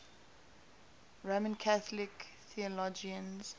roman catholic theologians